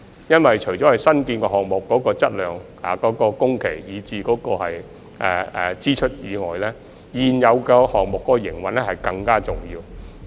因為除新建項目的質量、工期及支出外，現有線路的營運更為重要。